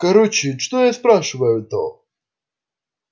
короче что я спрашиваю то